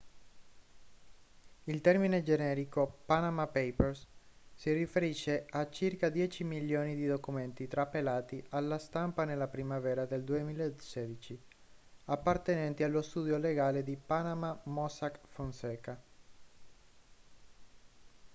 il termine generico panama papers si riferisce a circa dieci milioni di documenti trapelati alla stampa nella primavera del 2016 appartenenti allo studio legale di panama mossack fonseca